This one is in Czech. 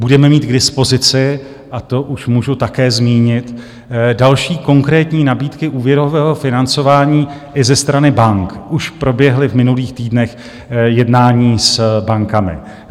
Budeme mít k dispozici, a to už můžu také zmínit, další konkrétní nabídky úvěrového financování i ze strany bank - už proběhla v minulých týdnech jednání s bankami.